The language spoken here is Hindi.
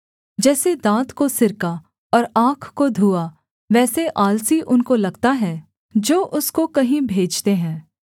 जैसे दाँत को सिरका और आँख को धुआँ वैसे आलसी उनको लगता है जो उसको कहीं भेजते हैं